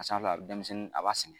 A san yɔrɔla denmisɛnnin a b'a sɛgɛn.